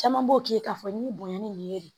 Caman b'o k'i k'a fɔ nin bonya nin ye de